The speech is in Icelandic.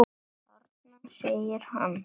Þarna! segir hann.